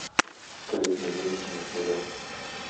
открыть новинки на тв